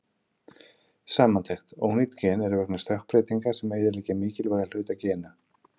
Samantekt: Ónýt gen eru vegna stökkbreytinga sem eyðileggja mikilvæga hluta gena.